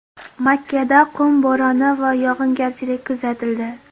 Makkada qum bo‘roni va yog‘ingarchilik kuzatildi .